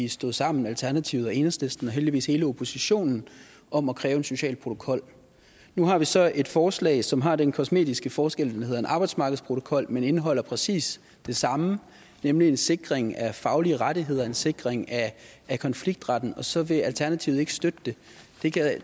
vi stod sammen alternativet og enhedslisten og heldigvis hele oppositionen om at kræve en social protokol nu har vi så et forslag som har den kosmetiske forskel at det hedder en arbejdsmarkedsprotokol men som indeholder præcis det samme nemlig en sikring af faglige rettigheder en sikring af konfliktretten og så vil alternativet ikke støtte det